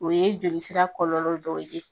U ye jolisira kɔlɔlɔ dɔ ye.